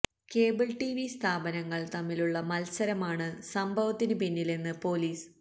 cable T V സ്ഥാപനങ്ങള് തമ്മിലുള്ള മത്സരമാണ് സംഭവത്തിന് പിന്നിലെന്ന് പൊലീസ്